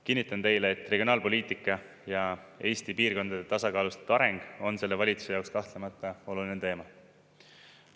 Kinnitan teile, et regionaalpoliitika ja Eesti piirkondade tasakaalustatud areng on selle valitsuse jaoks kahtlemata oluline teema.